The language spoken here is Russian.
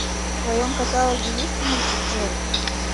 в твоем каталоге есть мультик джетт